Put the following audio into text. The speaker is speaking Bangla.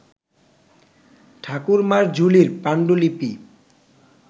ঠাকুরমার ঝুলি পান্ডুলিপি